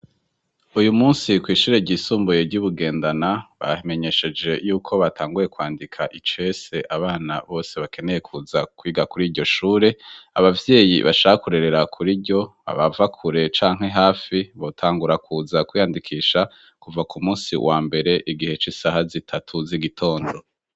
Uyu munsi kw'ishure ryisumbuye ry'i Bugendana bamenyesheje yuko batanguye kwandika icese abana bose bakeneye kuza kwiga kuri iryo shure. Abavyeyi bashaka kurerera kuri ryo abava kure canke hafi, botangura kuza kwiyandikisha kuva ku munsi wa mbere, igihe c'isaha zitatu z'igitondo.